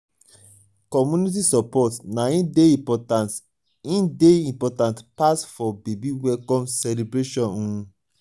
community support na im dey important im dey important pass for baby welcome celebration. um